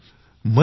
धन्यवाद सर